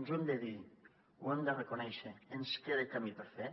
ens ho hem de dir ho hem de reconèixer ens queda camí per fer